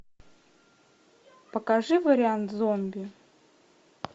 покажи вариант зомби